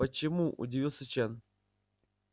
почему удивился чен